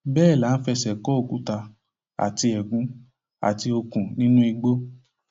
bẹẹ là ń fẹsẹ kó òkúta àti ẹgún àti okùn nínú igbó